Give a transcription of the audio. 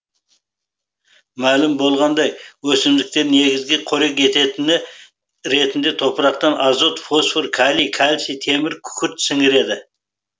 мәлім болғандай өсімдіктер негізгі қорек ететіні ретінде топырақтан азот фосфор калий кальций темір күкіртті сініреді